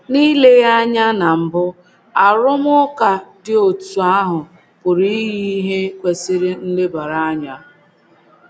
N’ile ya anya na mbụ, arụmụka dị otú ahụ pụrụ iyi ihe kwesịrị nlebara anya.